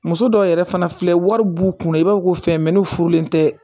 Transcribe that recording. Muso dɔw yɛrɛ fana filɛ wari b'u kun na i b'a fɔ ko fɛn bɛ n'u furulen tɛ